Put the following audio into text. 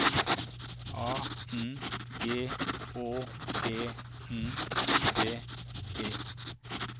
A N G Å E N D E